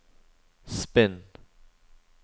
spinn